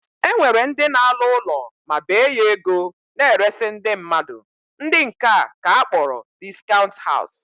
E nwere ndị na-alụ ụlọ ma bee ya ego na-eresị ndị mmadụ, ndị nke a ka akpọrọ discount house